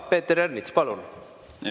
Peeter Ernits, palun!